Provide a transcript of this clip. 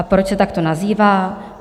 A proč se takto nazývá?